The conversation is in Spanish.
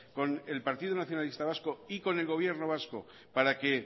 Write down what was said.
con el partido nacionalista vasco y con el gobierno vasco para que